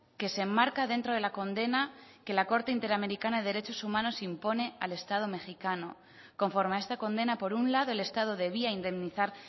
que se enmarca dentro de la condena que la corte interamericana de derechos humanos impone al estado mexicano conforme a esta condena por un lado el estado debía indemnizar